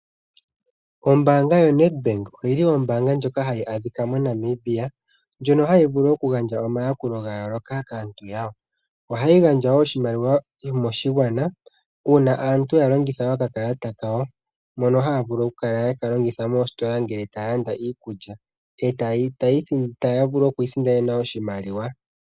Ombaanga yoNedbank oyili ombaanga ndjoka hayi adhika moNamibia, ndjono hayi vulu okugandja omayakulo gayooloka kaantu yawo . Ohayi gandja wo oshimaliwa moshigwana uuna aantu yalongitha okakalata kawo , mono haya vulu okukala yeka longitha moositola ngele taya landa iikulya, etaya vulu okwiisindanena oshimaliwa.